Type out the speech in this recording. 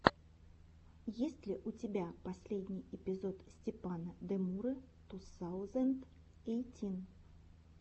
есть ли у тебя последний эпизод степана демуры ту саузэнд эйтин